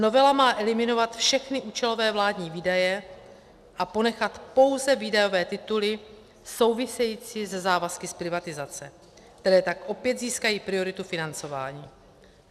Novela má eliminovat všechny účelové vládní výdaje a ponechat pouze výdajové tituly související se závazky z privatizace, které tak opět získají prioritu financování.